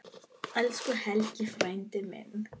Elsku Helgi frændi minn.